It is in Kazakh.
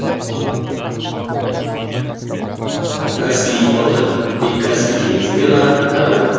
каспий итбалығы тек каспий теңізінде ғана таралған